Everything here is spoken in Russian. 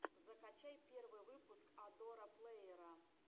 закачай первый выпуск адора плэйера